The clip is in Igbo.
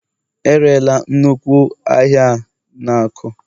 E rerela nnukwu ụlọ ahịa a na Aku